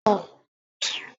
Kámẹ́rà mi bàjẹ́ ni àná